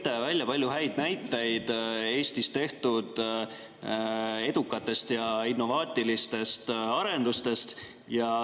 Te tõite palju häid näiteid Eestis tehtud edukatest ja innovaatilistest arendustest.